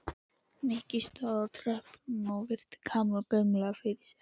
Nikki stóð á tröppunum og virti Kamillu gaumgæfilega fyrir sér.